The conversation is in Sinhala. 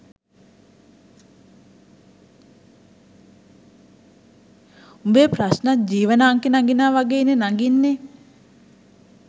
උඹේ ප්‍රශ්ණත් ජීවන අංකෙ නගිනවා වගෙයිනෙ නගින්නෙ